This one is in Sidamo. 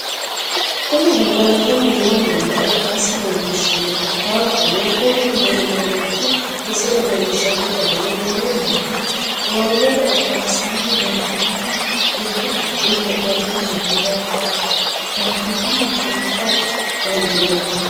Kuni gangalatanni noo mana ikkasi leelishanno korikaatuno kuni maniti misile leelishano garini woluwiini towanyote alibansani leelitanotta dubu gido heedhano lubuwa towatanotta buuxa dandinanni